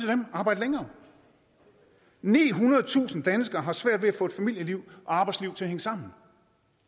dem arbejd længere nihundredetusind danskere har svært ved at få et familieliv og arbejdsliv til at hænge sammen